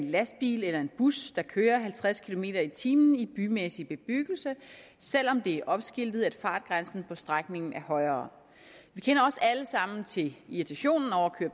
en lastbil eller en bus der kører halvtreds kilometer per time i bymæssig bebyggelse selv om det er opskiltet at fartgrænsen på strækningen er højere vi kender også alle sammen til irritationen over